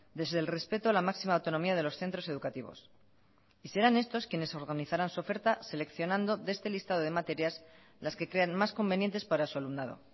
desde el respeto a la máxima autonomía de los centros educativos y serán estos quienes organizarán su oferta seleccionando de este listado de materias las que crean más convenientes para su alumnado